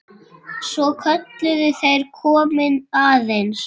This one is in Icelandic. Svo kölluðu þeir: Komiði aðeins!